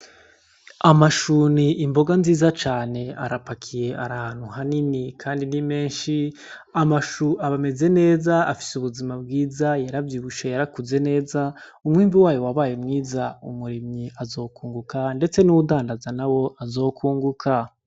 Amashu ni imboga nziza cane arapakiye ari ahantu hanini kandi ni menshi. Amashu ameze neza afise ubuzima bwiza yaravyibushe yarakuze neza, umwimbu wayo wabaye mwiza umurimyi azokunguka ndetse n'uwudandaza nawo azokunguka.